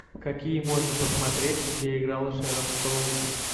какие можно посмотреть где играла шэрон стоун